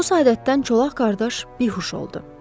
Bu saədətdən çolaq qardaş bihuş oldu.